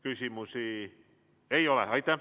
Küsimusi ei ole.